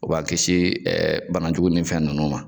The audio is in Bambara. U b'a kisi bana jugu ni fɛn ninnu ma.